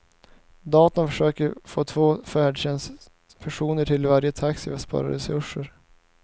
Datorn försöker få två färdtjänstpersoner till varje taxi för att spara resurser.